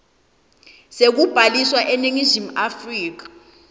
sekubhaliswa eningizimu afrika